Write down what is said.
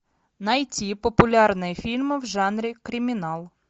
найти популярные фильмы в жанре криминал